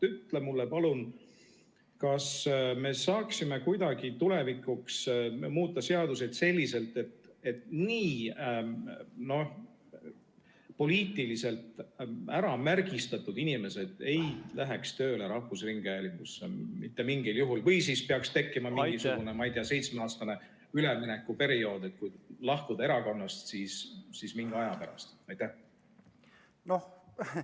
Ütle mulle, palun, kas me saaksime kuidagi tulevikuks muuta seadusi selliselt, et poliitiliselt äramärgistatud inimesed ei läheks mitte mingil juhul tööle rahvusringhäälingusse või et kehtestataks mingisugune, ma ei tea, seitsmeaastane üleminekuperiood, et kui lahkud erakonnast, siis alles mingi aja pärast.